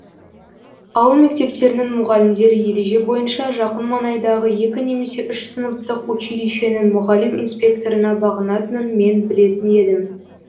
ауыл мектептерінің мұғалімдері ереже бойынша жақын маңайдағы екі немесе үш сыныптық училищенің мұғалім инспекторына бағынатынын мен білетін едім